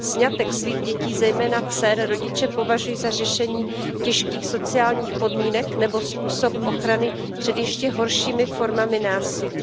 Sňatek svých dětí, zejména dcer, rodiče považují za řešení těžkých sociálních podmínek nebo způsob ochrany před ještě horšími formami násilí.